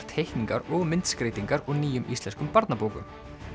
teikningar og myndskreytingar úr nýjum íslenskum barnabókum